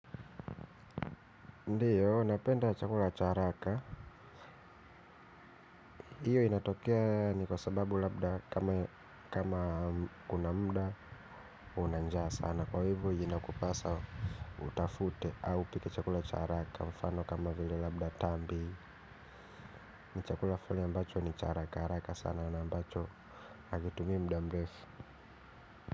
Ndiyo napenda chakula cha haraka iyo inatokea ni kwa sababu labda kama kama kuna muda una njaa sana kwa hivo inakupasa utafute au upike chakula cha haraka mfano kama vile labda tambi ni chakula foli ambacho ni cha haraka haraka sana na ambacho havitumii muda mrefu.